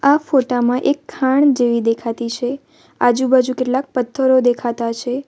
આ ફોટા માં એક ખાણ જેવી દેખાતી છે આજુબાજુ કેટલાક પથ્થરો દેખાતા છે.